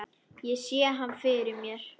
Ég sé hann fyrir mér.